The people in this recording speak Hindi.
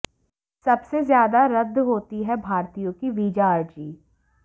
सबसे ज्यादा रद्द होती है भारतीयों की वीजा अर्जी